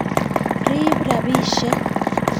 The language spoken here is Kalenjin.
Riib rabishek